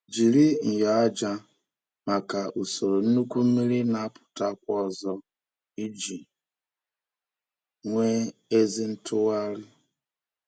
Jiri nyo aja maka usoro nnukwu mmiri na-apụtakwa ozo iji nwee ezi ntụgharị.